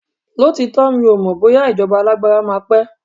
lotitọ, mi o mọ bóyá ijoba alagbara ma pe